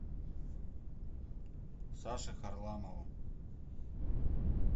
саше харламову